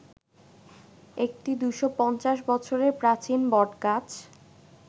একটি ২৫০ বছরের প্রাচীন বটগাছ